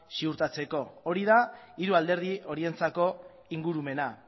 ziurtatzeko hori da hiru alderdi horientzako ingurumena